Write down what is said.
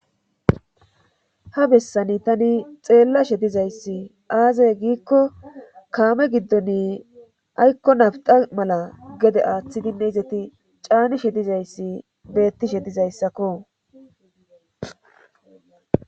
Ha bessani tani xeella she dizayssi aazay giikko kaame giddoni aykko nabta mala gede aaththidinne izeti caanishe dizayssi beettishe dizayssakko.